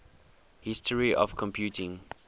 history of computing